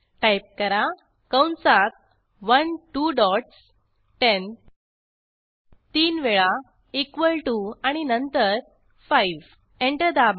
type करा कंसात 1 two dots 10 तीन वेळा इक्वॉल टीओ आणि नंतर 5 एंटर दाबा